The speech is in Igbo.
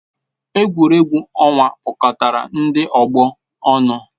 Egwuregwu ọnwa kpọkọtara ndị ọgbọ ọnụ.